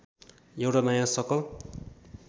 एउटा नयाँ सकल